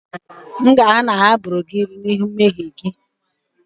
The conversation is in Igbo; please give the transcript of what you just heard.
M ga-ahụ na e gburu gị n'ihi mmehie gị